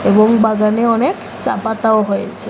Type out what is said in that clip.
এবং বাগানে অনেক চা পাতাও হয়েছে।